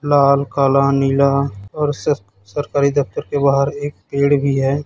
लाल काला नीला और सर सरकारी दफ्तर के बाहर एक पेड़ भी है।